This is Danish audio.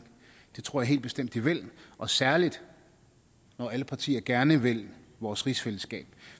det tror jeg helt bestemt de vil og særlig når alle partier gerne vil vores rigsfællesskab